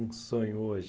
Um sonho hoje?